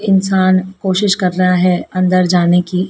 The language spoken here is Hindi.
इंसान कोशिश कर रहा है अंदर जाने की--